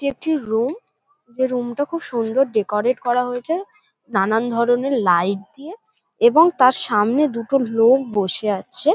এটি একটি রুম । এই রুম -টা খুব সুন্দর ডেকোরেট করা হয়েছে নানান ধরনের লাইট দিয়ে এবং তার সামনে দুটো লোক বসে আছে-এ।